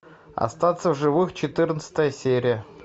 остаться в живых четырнадцатая серия